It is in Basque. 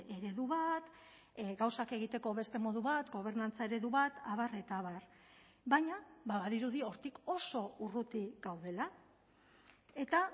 eredu bat gauzak egiteko beste modu bat gobernantza eredu bat abar eta abar baina badirudi hortik oso urruti gaudela eta